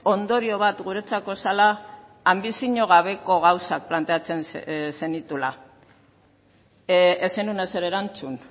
ondorio bat guretzako zela anbizio gabeko gauzak planteatzen zenituela ez zenuen ezer erantzun